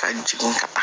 Ka jigin ka na